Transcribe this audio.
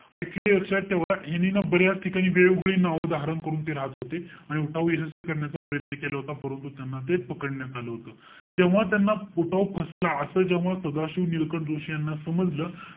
Actually लक्षात ठेवा, ह्यांनी ना बऱ्याच ठिकाणी वेगवेगळे नावं धारण करून ते राहत होते. आणि उठाव यशस्वी करण्याचा प्रयत्न केला होता. परंतु, त्यांना ते पकडण्यात आलं होतं. जेव्हा त्यांना, उठाव फसला. असं जेव्हा सदाशिव नीलकंठ जोशी यांना समजलं,